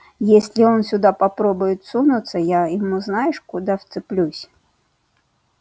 если он сюда попробует сунуться я ему знаешь куда вцеплюсь